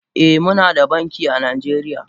Eh Munada banki a najeriya.